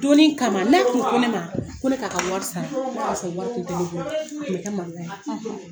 O donnin kama ne tun ne ma ko ne k'a wari sara k'a sɔrɔ wari tun tɛ ne bolo a tun bɛ kɛ maloya ye.